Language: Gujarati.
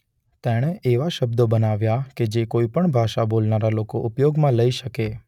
તેણે એવા શબ્દો બનાવ્યા છે કે જે કોઇ પણ ભાષા બોલનારા લોકો ઉપયોગમાં લઇ શકે.